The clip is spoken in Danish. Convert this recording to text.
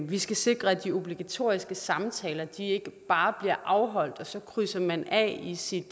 vi skal sikre at de obligatoriske samtaler ikke bare bliver afholdt og så krydser man af i sit